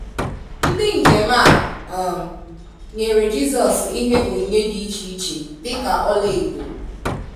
Ndị njem a um nyere Jisos ihe onyinye dị iche iche dịka Ọla Edo.